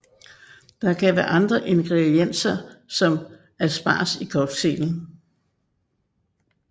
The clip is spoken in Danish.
Der kan være andre ingredienser som asparges i cocktailen